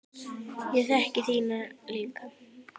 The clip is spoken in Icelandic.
Ég þekki þína líka.